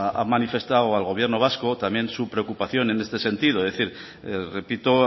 ha manifestado al gobierno vasco también su preocupación en este sentido es decir repito